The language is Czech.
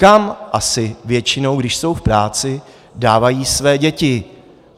Kam asi většinou, když jsou v práci, dávají své děti?